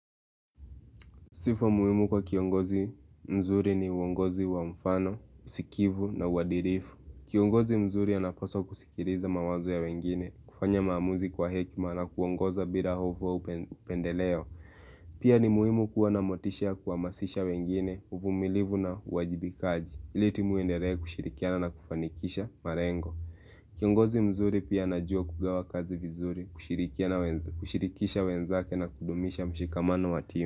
Sifa muhimu kwa kiongozi mzuri ni uongozi wa mfano, sikivu na uadilifu. Kiongozi mzuri anapaswa kuskiliza mawazo ya wengine, kufanya maamuzi kwa hekima na kuongoza bila hofu na upendeleo Pia ni muhimu kuwa na motisha kuhamasisha wengine, uvumilivu na wajibikaji ili timu iendelee kushirikiana na kufanikisha malengo Kiongozi mzuri pia anajua kugawa kazi vizuri, kushirikisha wenzake na kudumisha mshikamano watima.